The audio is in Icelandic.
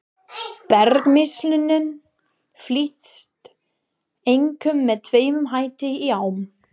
Bergmylsnan flyst einkum með tvennum hætti í ám.